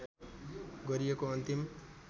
गरिएको अन्तिम